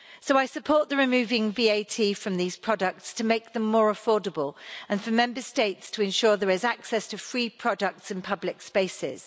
I support removing VAT from these products to make them more affordable and call on Member States to ensure that there is access to free products in public spaces.